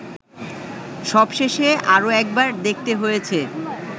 সবশেষে আরো একবার দেখতে হয়েছে